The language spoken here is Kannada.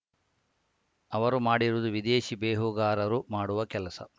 ಅವರು ಮಾಡಿರುವುದು ವಿದೇಶಿ ಬೇಹುಗಾರರು ಮಾಡುವ ಕೆಲಸ